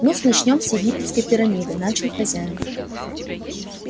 ну-с начнём с египетской пирамиды начал хозяин